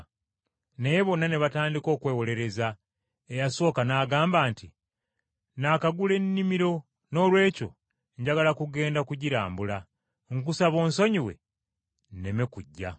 “Naye bonna ne batandika okwewolereza; eyasooka n’agamba nti, ‘Nnaakagula ennimiro noolwekyo njagala kugenda kugirambula. Nkusaba onsonyiwe, nneme kujja.’